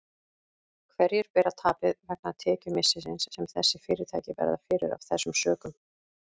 En hverjir bera tapið vegna tekjumissisins sem þessi fyrirtæki verða fyrir af þessum sökum?